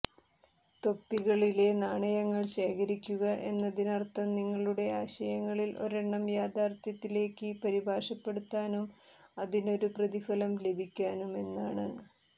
തൊപ്പികളിലെ നാണയങ്ങൾ ശേഖരിക്കുക എന്നതിനർത്ഥം നിങ്ങളുടെ ആശയങ്ങളിൽ ഒരെണ്ണം യാഥാർത്ഥ്യത്തിലേക്ക് പരിഭാഷപ്പെടുത്താനും അതിനൊരു പ്രതിഫലം ലഭിക്കാനുമെന്നാണ്